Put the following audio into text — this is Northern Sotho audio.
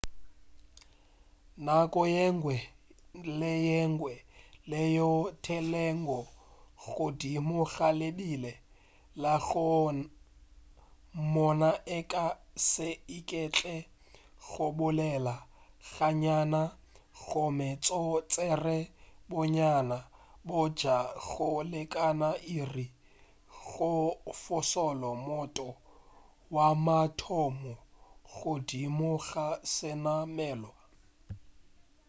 nako yengwe le yengwe yeo e theelwego godimo ga lebile la go moona e ka se iketle go bolela ga nnyane gomme go tšere bonnyane bja go lekana iri go fološa motho wa mathomo godimo ga senamelwa